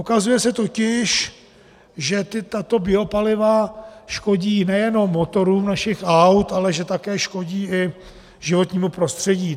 Ukazuje se totiž, že tato biopaliva škodí nejenom motorům našich aut, ale že také škodí i životnímu prostředí.